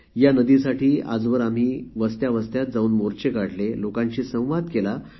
या नदीसाठी आम्ही विविध वस्त्यांमध्ये जाऊन जनजागृती रॅली काढली लोकांशी चर्चाही केली